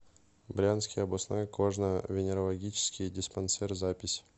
брянский областной кожно венерологический диспансер запись